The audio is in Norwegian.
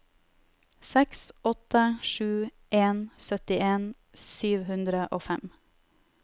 seks åtte sju en syttien sju hundre og fem